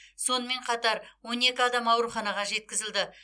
сонымен қатар он екі адам ауруханаға жеткізілді